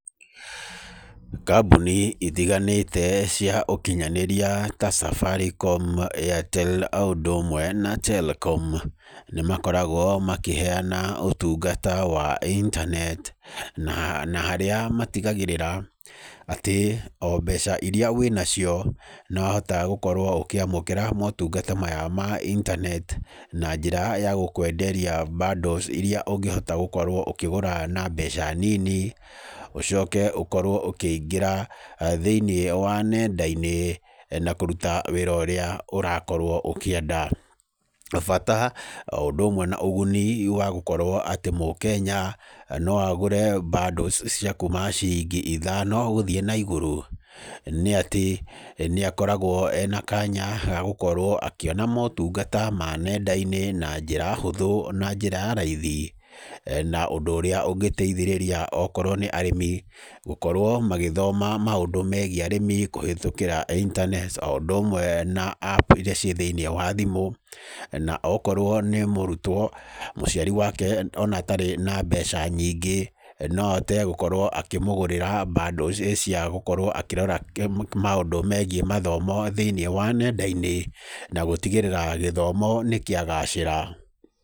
Kambũni itiganĩte cia ũkinyanĩria ta Safaricom, Airtel o ũndũ ũmwe na Telkom nĩ makoragwo makĩheana ũtũngata wa internet. Na harĩa matigagĩrĩra atĩ, o mbeca irĩa wĩnacio no ũhotaga gũkorwo ũkĩamũkĩra motungata maya ma internet, na njĩra ya gũkwenderia bundles irĩa ũngĩhota gũkorwo ũkĩgũra na mbeca nini, ũcoke ũkorwo ũkĩingĩra nenda-inĩ na kũruta wĩra ũrĩa ũrakorwo ũkĩenda. Bata o ũndũ ũmwe na ũguni wa gũkorwo atĩ mũkenya no agũre bundles cia kuma ciringi ithano gũthiĩ naigũrũ, nĩ atĩ nĩ akoragwo ena kanya ga gũkorwo akĩona motungata ma nenda-inĩ na njĩra hũthũ na njĩra ya raithi. Na ũndũ ũrĩa ũngĩteithĩrĩria okorwo nĩ arĩmi gũkorwo magĩthoma maũndũ megiĩ arĩmi kũhĩtũkĩra internet o ũndũ ũmwe na App irĩa ciĩ thĩinĩ wa thimũ. Na okorwo nĩ mũrutwo, mũciari wake ona atarĩ na mbeca nyingĩ no ahote gũkorwo akĩmũgũrĩra bundles cia gũkorwo akĩrora maũndũ megiĩ mathomo thĩinĩ wa nenda-inĩ, na gũtigĩrĩra gĩthomo nĩ kĩa gacĩra.